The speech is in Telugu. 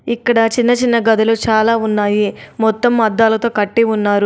ఇక్కడ చిన్న చిన్న గదులు చాలా ఉన్నాయి. మొత్తం అద్దాలతో కట్టి ఉన్నారు.